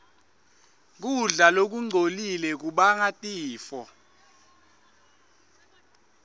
kudla lokungcolile kubanga tifo